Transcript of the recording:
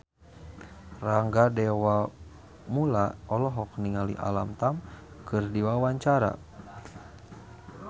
Rangga Dewamoela olohok ningali Alam Tam keur diwawancara